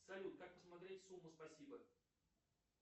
салют как посмотреть сумму спасибо